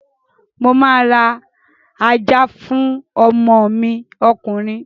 Mo máa ra ajá fún ọmọ mi ọkùnrin